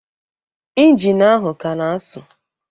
Injin ahụ a ka na-asu